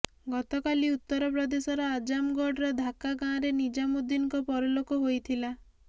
ଗତକାଲି ଉତ୍ତର ପ୍ରଦେଶର ଆଜମଗଡ଼ର ଧାକ୍ୱା ଗାଁରେ ନିଜାମୁଦ୍ଦିନଙ୍କ ପରଲୋକ ହୋଇଥିଲା